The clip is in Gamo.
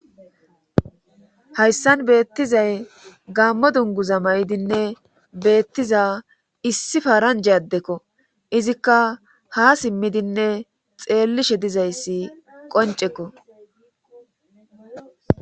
hayssan beettizay gammo dunguza may7idinne beettiza issi faranja addekko izikka ha simmidinne xeellishe dizayssi qoncekko